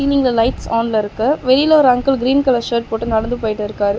இங்க லைட்ஸ் ஆன்ல இருக்கு வெளில ஒரு அங்கிள் கிரீன் கலர் ஷர்ட் போட்டு நடந்து போயிட்டிருக்காரு.